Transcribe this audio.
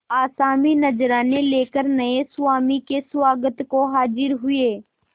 आसामी नजराने लेकर नये स्वामी के स्वागत को हाजिर हुए